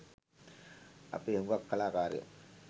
අපේ හුගක් කලාකාරයෝ